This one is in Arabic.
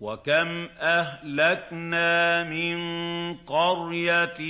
وَكَمْ أَهْلَكْنَا مِن قَرْيَةٍ